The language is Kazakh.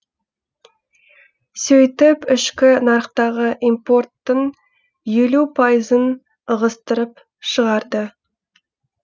сөйтіп ішкі нарықтағы импорттың елу пайызын ығыстырып шығарды